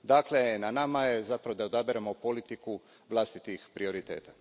Dakle, na nama je zapravo da odaberemo politiku vlastitih prioriteta.